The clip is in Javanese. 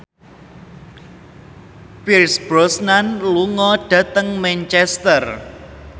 Pierce Brosnan lunga dhateng Manchester